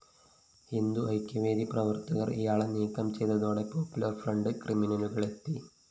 ഹിന്ദുഐക്യവേദി പ്രവര്‍ത്തകര്‍ ഇയാളെ നീക്കം ചെയ്തതോടെ പോപ്പുലര്‍ഫ്രണ്ട് ക്രിമിനലുകളെത്തി